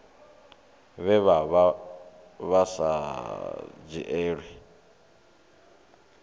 vhe vha vha sa dzhielwi